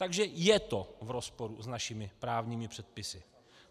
Takže je to v rozporu s našimi právními předpisy.